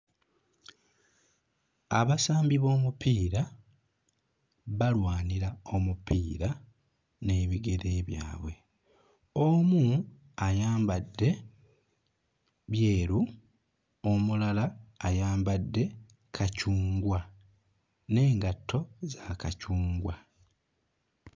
Abasambi b'omupiira balwanira omupiira n'ebigere byabwe, omu ayambadde byeru, omulala ayambadde kacungwa n'engatto za kacungwa.